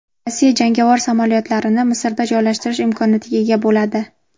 Rossiya jangovar samolyotlarini Misrda joylashtirish imkoniyatiga ega bo‘ladi.